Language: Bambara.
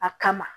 A kama